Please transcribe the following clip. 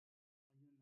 Hayyonna